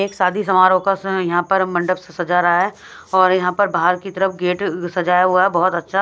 एक शादी समारोह का यहां पर मंडप सजा रहा है और यहां पर बाहर की तरफ गेट सजाया हुआ है बहुत अच्छा--